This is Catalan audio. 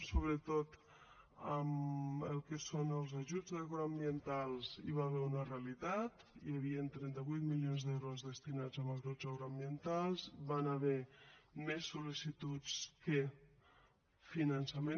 sobretot amb el que són els ajuts agroambientals hi va haver una realitat hi havien trenta vuit milions d’euros destinats a ajuts agroambientals hi van haver més sol·licituds que finançament